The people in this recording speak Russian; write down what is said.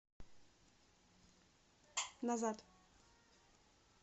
назад